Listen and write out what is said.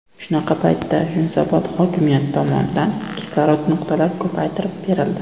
Shunaqa paytda Yunusobod hokimiyati tomonidan kislorod nuqtalari ko‘paytirib berildi.